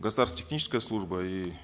государственная техническая служба и